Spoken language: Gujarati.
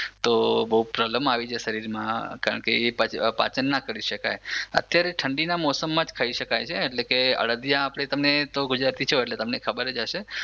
તો બહુ પ્રોબ્લેમ આવી જાય શરીરમાં કારણ કે એ પાચન ના કરી શકાય અત્યારે ઠંડીના જ મોસમમાં ખઈ શકાય છે અડદિયા આપણે તમે ગુજરાતી છો એટલે તમને ખબર જ હશે